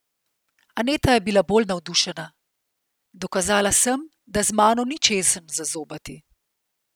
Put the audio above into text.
Aneta je bila bolj navdušena: "Dokazala sem, da z mano ni češenj za zobati.